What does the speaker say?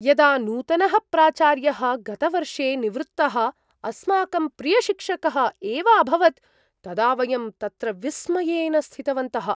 यदा नूतनः प्राचार्यः, गतवर्षे निवृत्तः अस्माकं प्रियशिक्षकः एव अभवत्, तदा वयं तत्र विस्मयेन स्थितवन्तः।